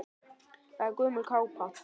Þetta er gömul kápa.